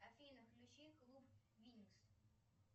афина включи клуб винкс